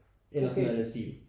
Eller sådan af i den stil